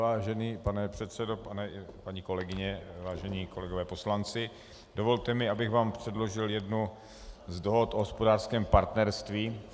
Vážený pane předsedo, paní kolegyně, vážení kolegové poslanci, dovolte mi, abych vám předložil jednu z dohod o hospodářském partnerství.